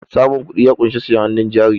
samun kudi ya kunshi siyen hannun jari